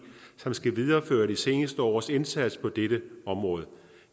som skal videreføre de seneste års indsats på dette område